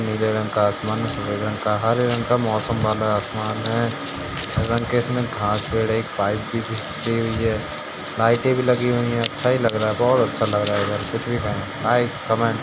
नीले रंग का आसमान है हरे रंग का पाइप भी बिखरी हुई है लाइटें भी लगी हुई हैं अच्छा लग रहा है बोहोत अच्छा लग रहा है।